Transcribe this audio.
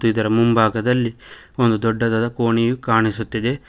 ಇದರ ಮುಂಭಾಗದಲ್ಲಿ ಒಂದು ದೊಡ್ಡದಾದ ಕೋಣೆಯು ಕಾಣಿಸುತ್ತಿದೆ.